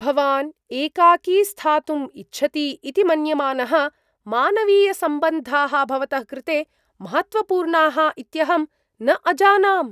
भवान् एकाकी स्थातुम् इच्छति इति मन्यमानः, मानवीयसम्बन्धाः भवतः कृते महत्त्वपूर्णाः इत्यहं न अजानाम्।